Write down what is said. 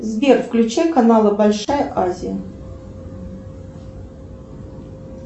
сбер включи каналы большая азия